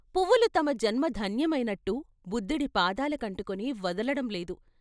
పువ్వులు తమ జన్మ ధన్యమైనట్టు బుద్ధుడి పాదాల కంటుకుని వదలటం లేదు.